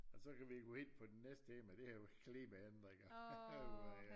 Og så kan vi gå ind på den næste emne og det er jo klimaændringer